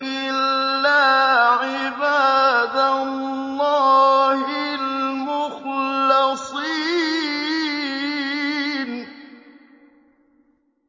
إِلَّا عِبَادَ اللَّهِ الْمُخْلَصِينَ